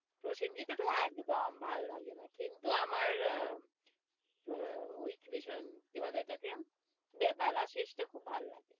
প্রসেনজিৎ এর তহ একদম ভাল লাগেনা কিন্তু আমার, আহ আহ ওই কি বলে ওইটাকে বেলা শেষটা খুব ভাল লাগে,